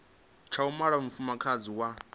tsha u mala mufumakadzi wa